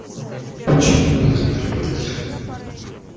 почему тебя загнали в это тело